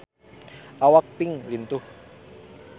Awak Pink lintuh